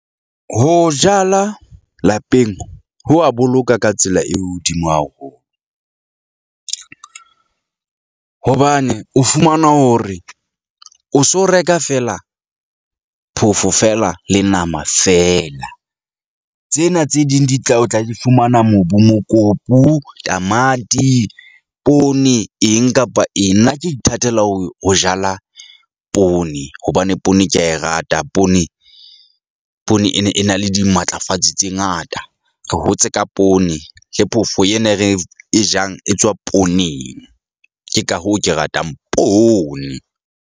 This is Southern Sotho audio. Ho jala lapeng ho wa boloka ka tsela e hodimo haholo hobane o fumana hore o so reka feela phofo feela le nama feela. Tsena tse ding di tla o tla fumana mobu, mokopu, tamati, poone eng kapa eng. Nna ke ithatela ho ho jala poone hobane poone ke a e rata. Poone, poone e ne e na le dimatlafatsi tse ngata. Re hotse ka poone le phofo ena, e re e jang e tswa pooneng. Ke ka hoo ke ratang poone.